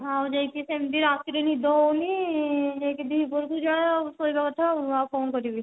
ଯାଇକି ସେମିତି ରାତିରେ ନିଦ ହଉନି ଯାଇକି ଦି ପହରେ କୁ ଯାହା ଆଉ ଶୋଇବା କଥା ଆଉ କଣ କରିବି